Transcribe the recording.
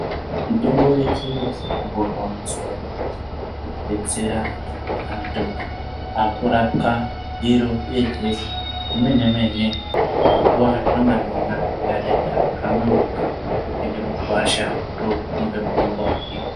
Mitombo yeshe mazuwaeshe ngekudetsera ngekuti anthu aakurapwa iro yemene mene panguwa inenge yarwara munthu otopinde mugwasha otomupe mutombo wake.